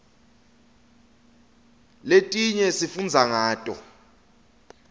letinye sifundza ngato